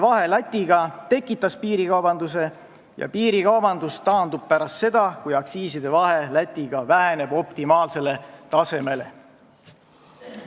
Vahe Läti aktsiisidega on tekitanud piirikaubanduse ja see taandub pärast seda, kui see vahe väheneb optimaalsele tasemele.